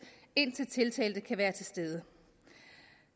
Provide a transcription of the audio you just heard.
indtil tiltalte kan være til stede